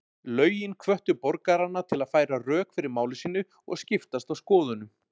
Lögin hvöttu borgarana til að færa rök fyrir máli sínu og skiptast á skoðunum.